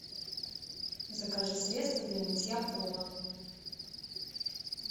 закажи средство для мытья пола